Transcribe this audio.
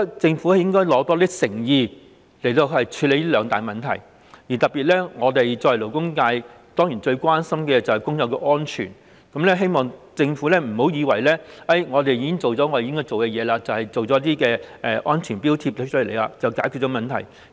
政府應拿出更多誠意處理這兩大問題，特別是我們作為勞工界，最關心的當然是工友的安全，希望政府別以為已經做好了自己的工作，推出安全標記便以為這樣就解決了問題。